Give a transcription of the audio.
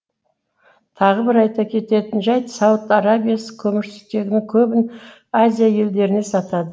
тағы бір айта кететін жайт сауд арабиясы көмірсутегінің көбін азия елдеріне сатады